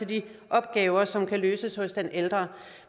de opgaver som kan løses hos den ældre